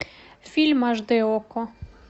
фильм аш дэ окко